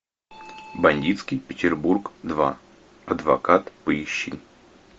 бандитский петербург два адвокат поищи